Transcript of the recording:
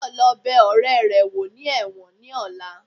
Tayo lo bè oréré wo ní ẹwọ́n ní ọla